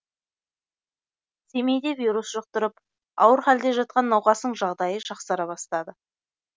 семейде вирус жұқтырып ауыр халде жатқан науқастың жағдайы жақсара бастады